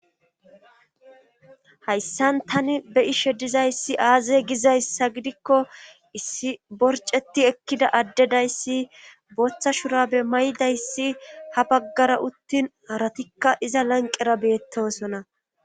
Hayssan tani be ishe dizayssi aaze gizayssa gidikko issi borceti ekkida addedayssi boththa shura be may7dayssi ha baggara uttin aratikka iza lanqera beettosona